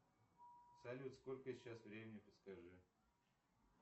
салют сколько сейчас времени подскажи